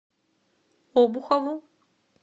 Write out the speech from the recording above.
обухову